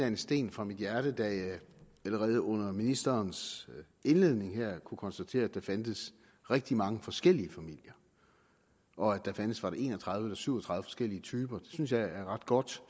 en sten fra mit hjerte da jeg allerede under ministerens indledning kunne konstatere at der fandtes rigtig mange forskellige familier og at der fandtes var det en og tredive eller syv og tredive forskellige typer det synes jeg er ret godt